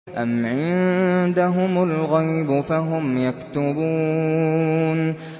أَمْ عِندَهُمُ الْغَيْبُ فَهُمْ يَكْتُبُونَ